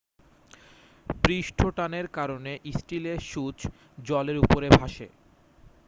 পৃষ্ঠটানের কারণে স্টিলের সূঁচ জলের উপরে ভাসে